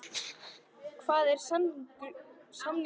Hvað er samningurinn langur?